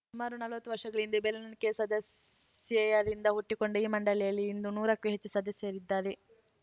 ಸುಮಾರು ನಲ್ವತ್ತು ವರ್ಷಗಳ ಹಿಂದೆ ಬೆರೆಳೆಣಿಕೆಯ ಸದಸ್ಯೆಯರಿಂದ ಹುಟ್ಟಿಕೊಂಡ ಈ ಮಂಡಳಿಯಲ್ಲಿ ಇಂದು ನೂರಕ್ಕೂ ಹೆಚ್ಚು ಸದಸ್ಯೆಯರಿದ್ದಾರೆ